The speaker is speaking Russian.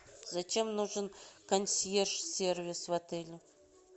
зачем нужен консьерж сервис в отеле